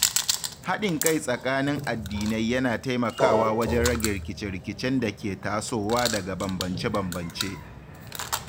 Haɗin kai tsakanin addinai yana taimakawa wajen rage rikice-rikicen da ke tasowa daga bambance-bambance.